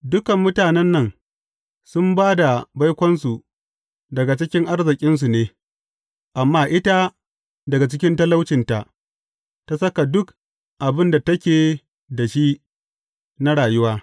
Dukan mutanen nan sun ba da baikonsu daga cikin arzikinsu ne, amma ita daga cikin talaucinta, ta saka duk abin da take da shi na rayuwa.